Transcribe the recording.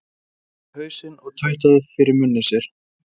Hann hristi hausinn og tautaði fyrir munni sér